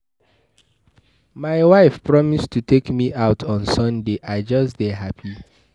My wife promise to take me out on Sunday. I just dey happy.